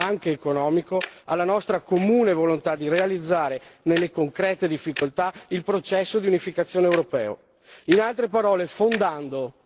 La soluzione non può che venire dando valore anche economico alla nostra comune volontà di realizzare nelle concrete difficoltà il processo di unificazione europeo.